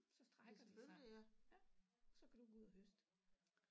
Så strækker de sig ja så kan du gå ud og høste